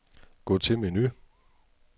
Gå til menu.